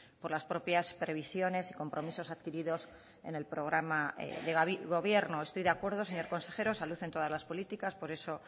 por las propias previsiones y compromisos adquiridos en el programa de gobierno estoy de acuerdo señor consejero salud en todas las políticas por eso